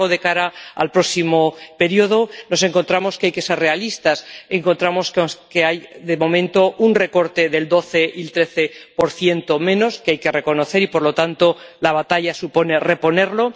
Sin embargo, de cara al próximo período nos encontramos que hay que ser realistas. Encontramos que hay, de momento, un recorte del 12 y del 13 algo que hay que reconocer y, por lo tanto, la batalla supone reponerlo.